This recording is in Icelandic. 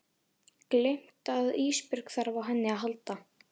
Gleymt að Ísbjörg þarf á henni að halda.